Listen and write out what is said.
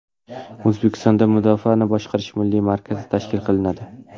O‘zbekistonda Mudofaani boshqarish milliy markazi tashkil qilinadi.